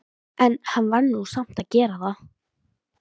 En hann varð nú samt að gera það.